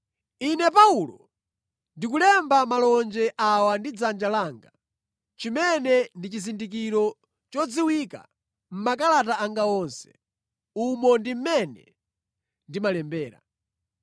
Ine Paulo, ndikulemba malonje awa ndi dzanja langa, chimene ndi chizindikiro chodziwika mʼmakalata anga onse. Umo ndi mmene ndimalembera.